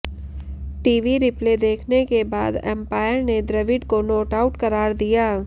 TV replay देखने के बाद अंपायर ने द्रविड़ को नॉट आउट करार दिया